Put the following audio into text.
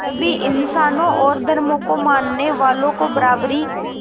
सभी इंसानों और धर्मों को मानने वालों को बराबरी